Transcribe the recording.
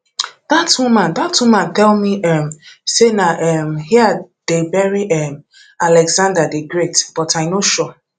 dat woman dat woman tell me um say na um here dey bury um alexander the great but i no sure